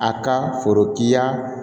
A ka foro kiya